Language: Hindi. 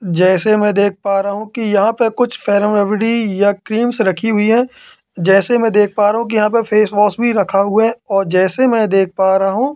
जैसे मैं देख पा रहा हूं कि यहां पे कुछ फेरमरबडी या क्रीम्स रखी हुई है। जैसे मैं देख पा रहा हूं कि यहां पे फेसवॉश भी रखा हुआ हैं और जैसे मैं देख पा रहा हूं--